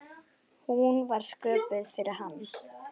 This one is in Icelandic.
Hún var sköpuð fyrir hann.